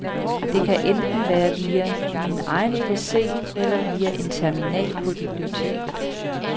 Det kan enten være via min egen pc eller via en terminal på biblioteket.